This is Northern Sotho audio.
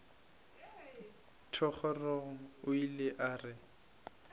thogorogo o ile a re